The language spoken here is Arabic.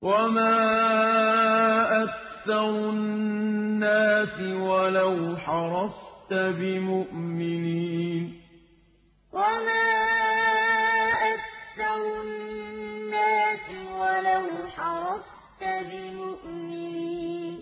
وَمَا أَكْثَرُ النَّاسِ وَلَوْ حَرَصْتَ بِمُؤْمِنِينَ وَمَا أَكْثَرُ النَّاسِ وَلَوْ حَرَصْتَ بِمُؤْمِنِينَ